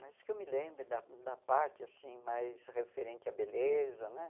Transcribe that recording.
Mas que eu me lembro da da parte, assim, mais referente à beleza, né?